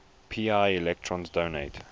pi electrons donate